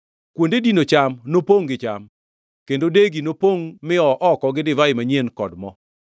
Kuonde dino cham nopongʼ gi cham; kendo degi nopongʼ mi-oo oko gi divai manyien kod mo.